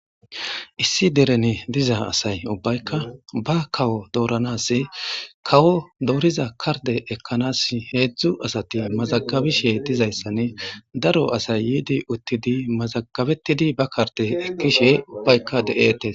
Issi deren diza asay ubbayka bakawo doranas kawo doriza kardeta ekanas hezhzhu asay mazagabishe dizayssane daro asay yidi uttidi mazagabesishe ubaykka detesg.